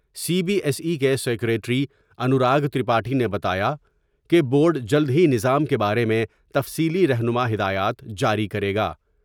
سی B S E کے secretary Anurag Tripathi نے بتایا کہ بورڈ جلد ہی نظام کے بارے میں تفصیلی رہنما ہدایات جاری کرے گا ۔